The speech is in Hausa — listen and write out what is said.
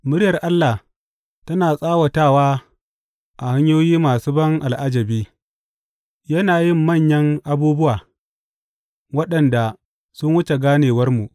Muryar Allah tana tsawatawa a hanyoyi masu ban al’ajabi; yana yin manyan abubuwa waɗanda sun wuce ganewarmu.